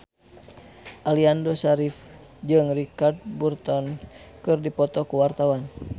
Aliando Syarif jeung Richard Burton keur dipoto ku wartawan